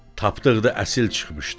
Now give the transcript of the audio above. Tapdıq da əsil çıxmışdı.